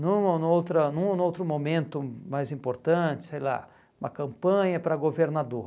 Num ou outra num ou outro momento mais importante, sei lá, uma campanha para governador.